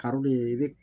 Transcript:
Karili i bi